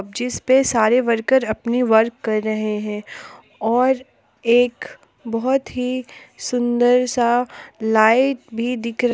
जिस पे सारे वर्कर अपने वर्क कर रहे हैं और एक बहुत ही सुंदर सा लाइट भी दिख--